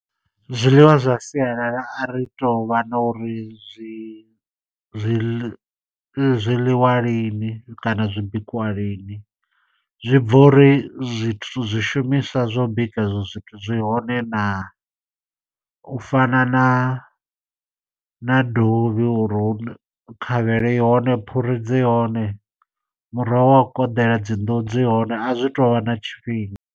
Zwiḽiwa zwa sialala a ri tou vha na uri zwi zwiḽi zwi ḽiwa lini kana zwi bikiwa lini. Zwi bva uri zwithu zwishumiswa zwa u bika ezwo zwithu zwi hone naa. U fana na na dovhi, uri u khavhelo i hone, phuri dzi hone, muroho wa u koḓela, dzi nḓuhu dzi hone. A zwi to vha na tshifhinga.